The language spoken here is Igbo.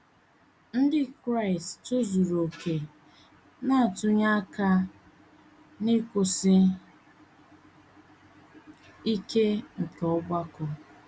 Ndị Kraịst tozuru okè na - atụnye aka ná nkwụsi ike nke ọgbakọ.